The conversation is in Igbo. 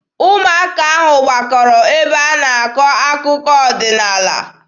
Ụmụaka ahụ gbakọrọ ebe a na-akọ akụkọ ọdịnaala.